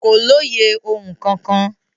Kò lóye ohun kankan.